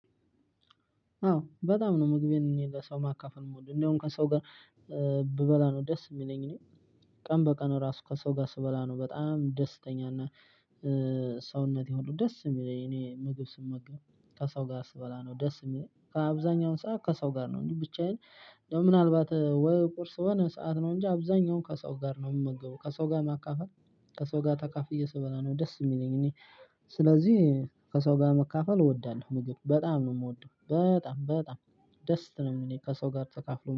አዎ በጣም ነው ምግቤን ለሰው ማካፈል የምወደው እንደውም ከሰው ጋር ብበላ ነው ደስ የሚለኝ። እኔ ቀን በቀን ራሱ ከሰው ጋር ስበላ ነው በጣም ደስተኛ እና ሰውነቴ ሁሉ ደስ የሚለኝ። እኔ ምግብ ስመገብ ከሰው ጋር ስበላ ነው ደስ የሚለኝ። ከአብዛኛውን ሰዓት ከሰው ጋር ነው እንጂ ብቻዬን ምናልባት ወይ ቁርስ ወይ የሆነሰዓት ነው እንጂ አብዛኛው ከሰው ጋር ነው የምመገበው ከሰው ጋር ማካፈል ከሰው ጋር ተካፍዬ ስበላ ነው ደስ የሚለኝ። እኔ ስለዚህ ከሰው ጋር መካፈል እወዳለሁ። ምግብ በጣም ነው የምወደው በጣም በጣም ደስ ነው እሚለኝ። ከሰው ጋር ተካፍሎ